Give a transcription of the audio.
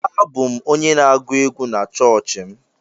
Abụ m onye na-agụ egwú na chọọchị m.